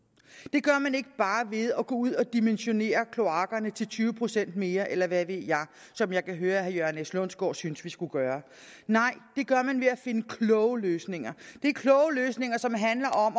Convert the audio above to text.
gør man ikke bare ved at gå ud og dimensionere kloakkerne til tyve procent mere eller hvad ved jeg som jeg kan høre at herre jørgen s lundsgaard synes at vi skulle gøre nej det gør man ved at finde kloge løsninger det er kloge løsninger som handler om